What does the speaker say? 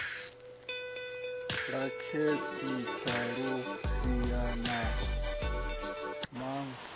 sa khentsa lufhia na maṅwe